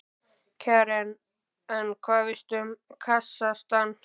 Karen: En hvað veistu um Kasakstan?